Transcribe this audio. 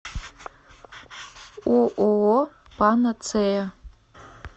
ооо панацея